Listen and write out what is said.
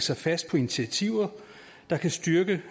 sig fast på initiativer der kan styrke